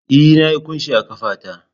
E, Na yi kunshi a ƙafa ta